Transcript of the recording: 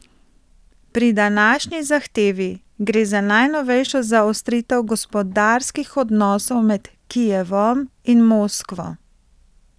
Pri današnji zahtevi gre za najnovejšo zaostritev gospodarskih odnosov med Kijevom in Moskvo.